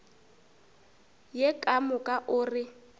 ye ka moka o re